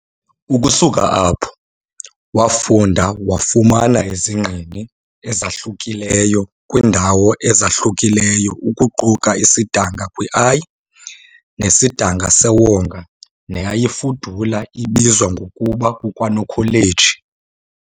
Ukusuka apho, wafunda wafumana izingqini ezahlukileyo kwiindawo ezahlukileyo ukuquka isidanga kwi, i, nesidinga sewonga neyayifudula ibizwa ngokuba kukwaNokholeji.